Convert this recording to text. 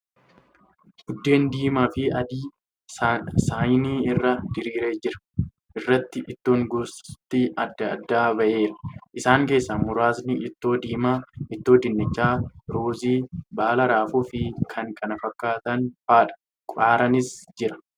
Buddeen diimaa fi adii saanii irra diriiree jiru irratti ittoon gosti adda addaa ba'eera. Isaan keessaa muraasni ittoo diimaa, ittoo dinnichaa, ruuzii, baala raafuu fi kan kana fakkaatan fa'adha. Qaaraanis jira.